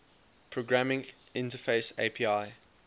programming interface api